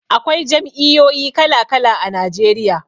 Akwai jam'iyoyi kala-kala a Najeriya.